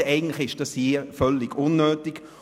Also ist das hier eigentlich völlig unnötig.